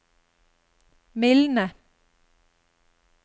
mildne